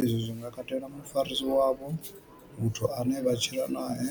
Izwi zwi nga katela mufarisi wavho, muthu ane vha tshila nae,